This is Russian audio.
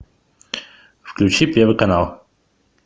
включи первый канал